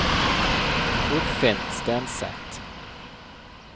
Torfinn Stenseth